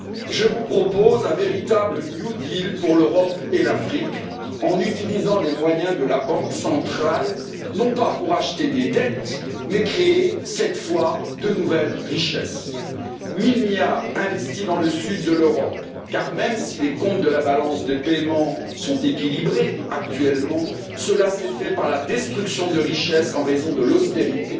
Je vous propose un véritable New Deal pour l'Europe et l'Afrique, en utilisant les moyens de la Banque centrale non pas pour acheter des dettes, mais créer, cette fois, de nouvelles richesses. Mille milliards investis dans le sud de l'Europe, car même si les comptes de la balance des paiements sont actuellement équilibrés, cela s'est fait par la destruction de richesses en raison de l'austérité.